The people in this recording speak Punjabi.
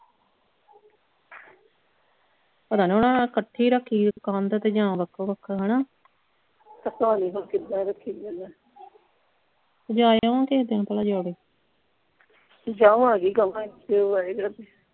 ਪਤਾ ਨਹੀਂ ਓਹਨਾਂ ਨਾਲ ਇਕੱਠੀ ਰੱਖੀ ਆ ਕੰਧ ਜਾਂ ਵੱਖੋ ਵੱਖ ਹਣਾ ਪਤਾ ਨਹੀਂ ਹੁਣ ਕਿੱਦਾਂ ਰੱਖੀ ਆ ਜਾ ਆਵਾਂਗੇ ਕਿਸੇ ਦਿਨ ਭਲਾ ਜੌੜੇ ਜਾਵਾਂਗੀ ਕਵਾਂਗੀ ਆ।